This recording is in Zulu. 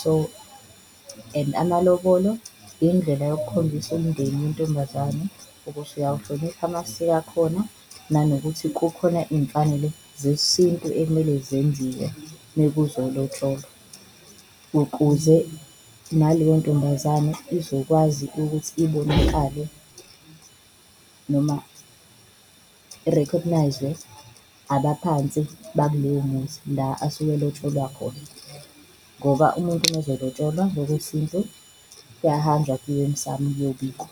So, and amalobolo indlela yokukhombisa umndeni intombazane ukuthi uyawuhlonipha amasiko akhona nanokuthi kukhona iy'mfanelo zesintu ekumele zenziwe uma kuzolotsholwa. Ukuze naleyo ntombazane izokwazi ukuthi ibonakale noma i-recognise-zwe abaphansi bakuloyo muzi la asuke elotsholwa khona, ngoba umuntu uma ezolotsholwa ngokwesintu kuyahanjwa kuyiwe emsamu kuyobikwa.